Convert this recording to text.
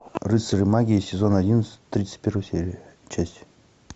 рыцари магии сезон одиннадцать тридцать первая серия часть